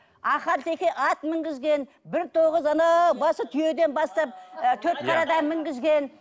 ахал теке ат мінгізген бір тоғыз анау басы түйеден бастап ы төрт қарадан мінгізген